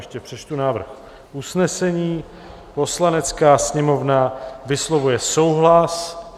Ještě přečtu návrh usnesení: "Poslanecká sněmovna vyslovuje souhlas..."